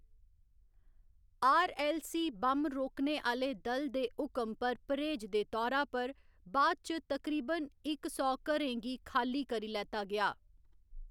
R. L. C. Bomb रोकने आह्‌‌ले दल दे हुकम पर परहेज दे तौरा पर बाद इच तकरीबन इक सौ घरें गी खाल्ली करी लैता गेआ।